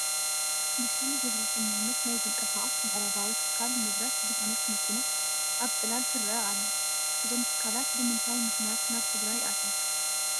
ብሽም ግብረ ሰናይነት ናይ ዝንቀሳቐስ ምዕራባዊ ትካል ንብረት ዝኾነት መኪና ኣብ ፅላል ትርአ ኣላ፡፡ እዞም ትካላት ብምንታይ ምኽንያት ናብ ትግራይ ኣትዮም?